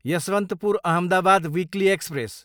Yesvantpur, Ahmedabad weekly express